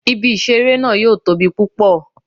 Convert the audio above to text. Ibi-iṣere naa yoo tobi pupọ